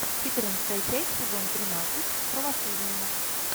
четырнадцатая часть сезон тринадцать правосудие